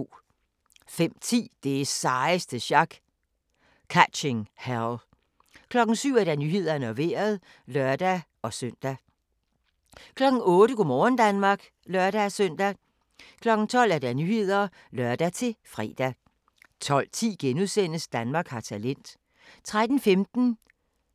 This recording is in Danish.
05:10: Det sejeste sjak – Catching Hell 07:00: Nyhederne og Vejret (lør-søn) 08:00: Go' morgen Danmark (lør-søn) 12:00: Nyhederne (lør-fre) 12:10: Danmark har talent * 13:15: